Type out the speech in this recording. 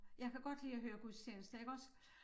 Jeg kan godt lide at høre gudstjeneste jeg kan også